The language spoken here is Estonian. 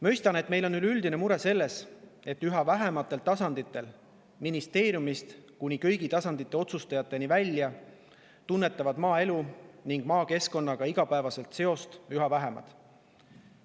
Mõistan, et meil on üldine mure, et üha tasanditel – ministeeriumist kuni kõigi tasandite otsustajateni välja – tunnetavad maaelu ja maakeskkonnaga igapäevaselt seost üha vähemad.